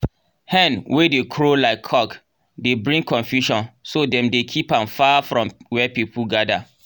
hen wey dey crow like cock dey bring confusion so dem dey keep am far from where people gather.